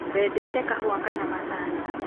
wendete kahũa kana macani?